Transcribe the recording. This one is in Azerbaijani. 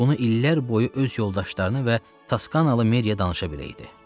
Bunu illər boyu öz yoldaşlarını və Taskanalı Meria danışa bilərdi.